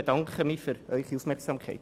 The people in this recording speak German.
Ich bedanke mich für Ihre Aufmerksamkeit.